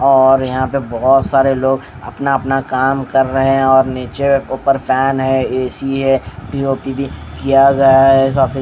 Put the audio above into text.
और यहां पे बहोत सारे लोग अपना अपना काम कर रहे हैं और नीचे ऊपर फैन है ए_सी है पी_ओ_पी भी किया गया है सा--